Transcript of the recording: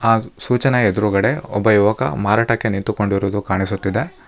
ಆ ಸೂಚನ ಎದುರುಗಡೆ ಒಬ್ಬ ಯುವಕ ಮಾರಾಟಕ್ಕೆ ನಿಂತಿಕೊಂಡಿರುವುದು ಕಾಣಿಸುತ್ತಿದೆ.